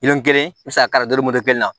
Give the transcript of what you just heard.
Miliyɔn kelen i bɛ se k'ari dari moritani na